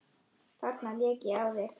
Þarna lék ég á þig!